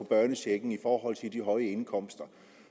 børnechecken i forhold til de høje indkomster